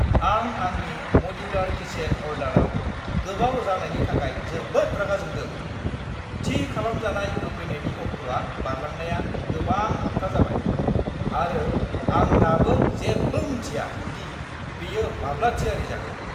आं आंनि modular kitchen अरडाराव गोबाव जानायनि थाखाय जोबोद रागा जोंदों। थि खालामजानाय होफैनायनि अक्ट'आ बारलांनाया गोबां हाबथा जाबाय, आरो आं दाबो जेबो मिन्थिया दि बेयो माब्ला थियारि जागोन।